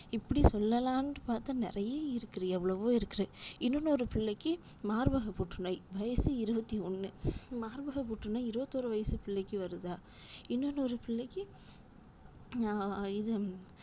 இப்படி சொல்லலாம்னுட்டு பாத்தா நிறைய இருக்குது எவ்வளவோ இருக்குது இன்னொன்னொரு பிள்ளைக்கு மார்பக புற்றுநோய் வயசு இருபத்தி ஒன்னு மார்பக புற்றுநோய் இருவத்திஒரு வயசு பிள்ளைக்கு வருதா இன்னொன்னொரு பிள்ளைக்கு நா இது